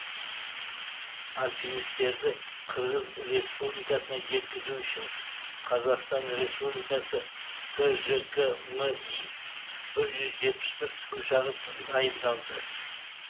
альпинистерді қырғыз республикасына жеткізу үшін қазақстан республикасы тжк ми бір жүз жетпіс бір тікұшағы дайындалды